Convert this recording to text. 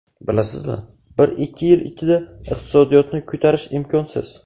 Bilasizmi, bir-ikki yil ichida iqtisodiyotni ko‘tarish imkonsiz.